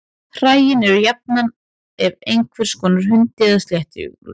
Hræin eru jafnan af einhvers konar hundi eða sléttuúlfi.